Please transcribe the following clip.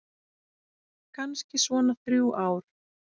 Kannski svona þrjú ár.